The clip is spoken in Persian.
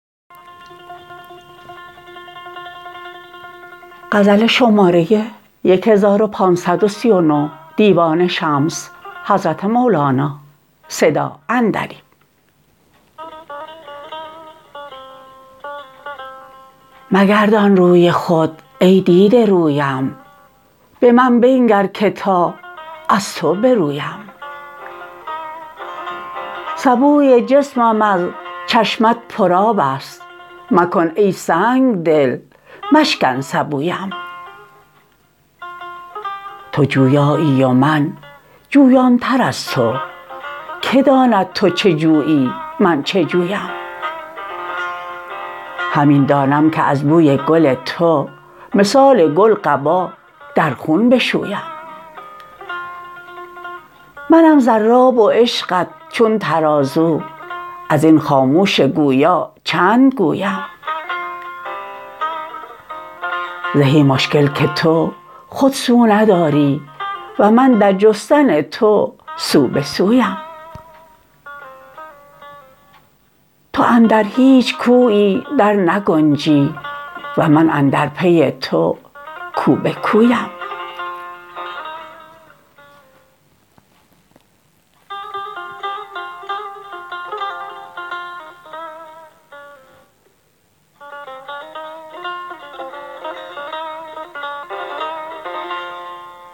مگردان روی خود ای دیده رویم به من بنگر که تا از تو برویم سبوی جسمم از چشمه ات پرآب است مکن ای سنگ دل مشکن سبویم تو جویایی و من جویانتر از تو که داند تو چه جویی من چه جویم همین دانم که از بوی گل تو مثال گل قبا در خون بشویم منم ضراب و عشقت چون ترازو از این خاموش گویا چند گویم زهی مشکل که تو خود سو نداری و من در جستن تو سو به سویم تو اندر هیچ کویی درنگنجی و من اندر پی تو کو به کویم